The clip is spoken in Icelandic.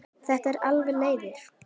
Það eru alveg leiðir.